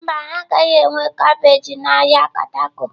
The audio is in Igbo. Mba, ha agaghị enwe kabeeji na ahịa Katako.